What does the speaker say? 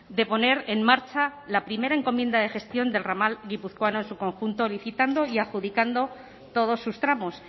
de poner en marcha la primera encomienda de gestión del ramal guipuzcoano en su conjunto licitando y adjudicando todos sus tramos